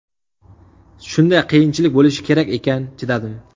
Shunday qiyinchilik bo‘lishi kerak ekan, chidadim.